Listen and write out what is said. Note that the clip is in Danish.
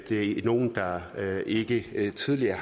er nogle der ikke ikke tidligere